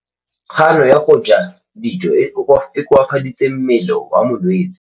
Kganô ya go ja dijo e koafaditse mmele wa molwetse.